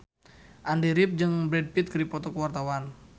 Andy rif jeung Brad Pitt keur dipoto ku wartawan